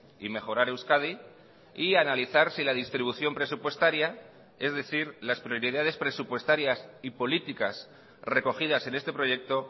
y mejorar euskadi y analizar si la distribución presupuestaria es decir las prioridades presupuestarias y políticas recogidas en este proyecto